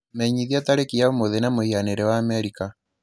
menyithia tarĩki ya ũmũthĩ na mũhianĩre wa Amerika